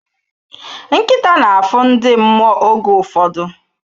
Nkịta na-afụ ndị mmụọ oge ụfọdụ.